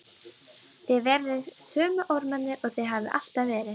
Þið verðið sömu ormarnir og þið hafið alltaf verið.